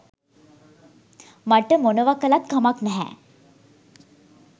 මට මොනවා කළත් කමක් නැහැ.